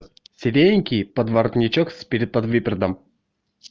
сиреневенький подворотничок с переподвыподвертом